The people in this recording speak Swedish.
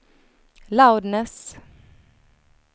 loudness